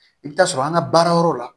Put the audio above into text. I bɛ taa sɔrɔ an ka baara yɔrɔ la